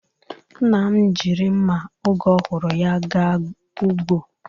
Nna m jiri nma oge ọhụrụ ya ga ugbo.